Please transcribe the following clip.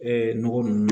nɔgɔ ninnu